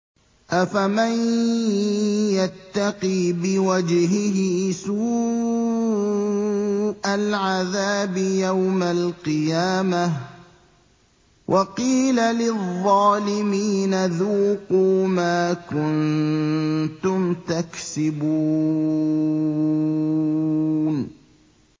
أَفَمَن يَتَّقِي بِوَجْهِهِ سُوءَ الْعَذَابِ يَوْمَ الْقِيَامَةِ ۚ وَقِيلَ لِلظَّالِمِينَ ذُوقُوا مَا كُنتُمْ تَكْسِبُونَ